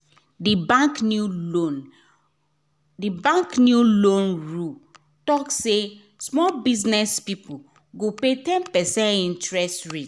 d bank new loan d bank new loan rule talk say small business people go pay ten percent interest rate